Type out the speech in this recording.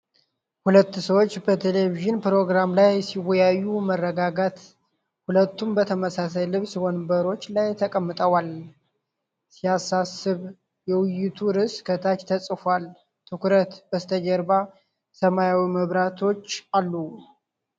ሁለት ሰዎች በቴሌቪዥን ፕሮግራም ላይ ሲወያዩ። መረጋጋት። ሁለቱም በተመሳሳይ ልብስ ወንበሮች ላይ ተቀምጠዋል። ሲያሳስብ! የውይይቱ ርዕስ ከታች ተፅፎአል። ትኩረት። በስተጀርባ ሰማያዊ መብራቶች አሉ።